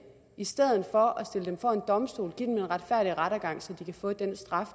i stedet for at stille dem for en domstol og rettergang så de kan få den straf